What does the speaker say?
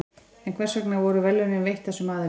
en hvers vegna voru verðlaunin veitt þessum aðilum